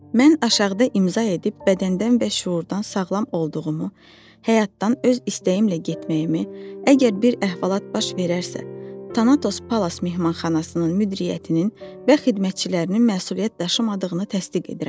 Mən aşağıda imza edib bədəndən və şüurdan sağlam olduğumu, həyatdan öz istəyimlə getməyimi, əgər bir əhvalat baş verərsə, Tanatos Palas mehmanxanasının müdiriyyətinin və xidmətçilərinin məsuliyyət daşımadığını təsdiq edirəm.